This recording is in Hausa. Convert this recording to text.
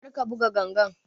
Kar ka buga ganga!